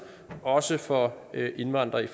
også for indvandrere i